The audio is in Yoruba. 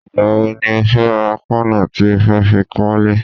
Ìgbà wo ni o fẹ́ ra páànù tí ó fẹ́ fi kọ́lẹ́?